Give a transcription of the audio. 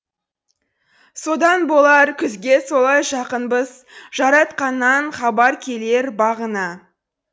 содан болар күзге солай жақынбыз жаратқаннан хабар келер бағына